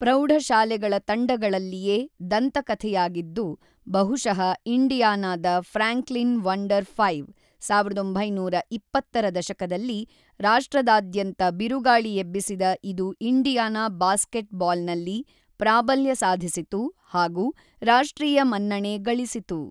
ಪ್ರೌಢಶಾಲೆಗಳ ತಂಡಗಳಲ್ಲಿಯೇ ದಂತಕಥೆಯಾಗಿದ್ದು ಬಹುಶಃ ಇಂಡಿಯಾನಾದ ಫ್ರಾಂಕ್ಲಿನ್‌ ವಂಡರ್ ಫೈವ್‌, ೧೯೨೦ ರ ದಶಕದಲ್ಲಿ ರಾಷ್ಟ್ರದಾದ್ಯಂತ ಬಿರುಗಾಳಿ ಎಬ್ಬಿಸಿದ ಇದು ಇಂಡಿಯಾನಾ ಬಾಸ್ಕೆಟ್‌ಬಾಲ್‌ನಲ್ಲಿ ಪ್ರಾಬಲ್ಯ ಸಾಧಿಸಿತು ಹಾಗೂ ರಾಷ್ಟ್ರೀಯ ಮನ್ನಣೆ ಗಳಿಸಿತು.